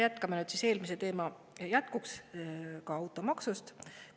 Jätkame nüüd siis eelmise teema jätkuks automaksuga.